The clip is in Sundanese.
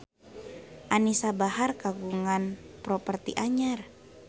Anisa Bahar kagungan properti anyar